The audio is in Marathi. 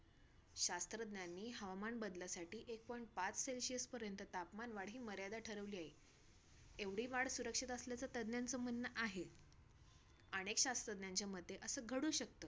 तर खूप आठवणी खूप आहेत अस सांगायला गेलं तर पाच अ ये पंधरा-वीस मिनिटं पण कमी पडतील मला की ए बाबा हा हे माझा गाव असा माझगाव